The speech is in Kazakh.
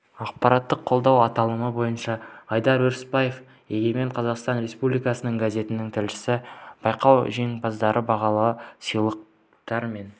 ақпараттық қолдау аталымы бойынша айдар өрісбаев егемен қазақстан республикалық газетінің тілшісі байқау жеңімпаздары бағалы сыйлықтар мен